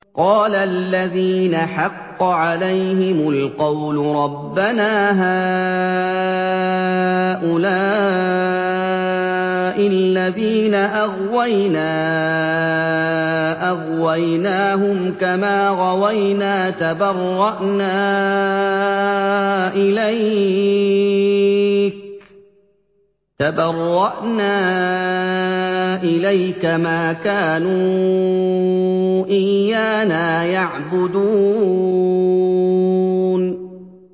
قَالَ الَّذِينَ حَقَّ عَلَيْهِمُ الْقَوْلُ رَبَّنَا هَٰؤُلَاءِ الَّذِينَ أَغْوَيْنَا أَغْوَيْنَاهُمْ كَمَا غَوَيْنَا ۖ تَبَرَّأْنَا إِلَيْكَ ۖ مَا كَانُوا إِيَّانَا يَعْبُدُونَ